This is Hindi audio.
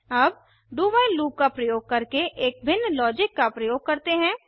अब do व्हाइल लूप का प्रयोग करके एक भिन्न लॉजिक का प्रयोग करते हैं